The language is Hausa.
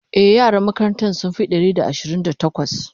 e yaran makarantan sun Fi Ɗari da Ashirin da takwas